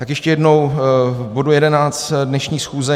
Tak ještě jednou k bodu 11 dnešní schůze.